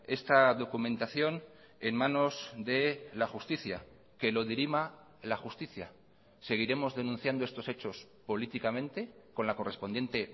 esta documentación en manos de la justicia que lo dirima la justicia seguiremos denunciando estos hechos políticamente con la correspondiente